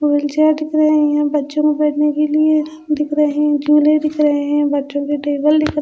दिख रहे हैं बच्चों को बैठने के लिए दिख रहे हैं झूले दिख रहे हैं बच्चों के टेबल दिख रहे --